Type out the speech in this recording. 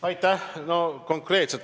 Aitäh!